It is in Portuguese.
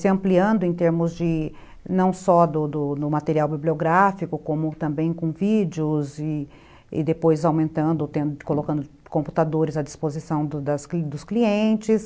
se ampliando em termos de não só do do material bibliográfico como também com vídeos e depois aumentando, colocando computadores à disposição dos dos clientes.